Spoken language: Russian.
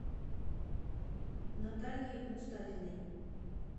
наталье мустафиной